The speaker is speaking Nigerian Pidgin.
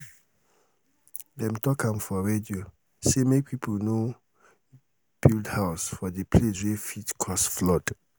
dem talk am for radio say make pipo no um dey build house for di place wey fit cause flood. um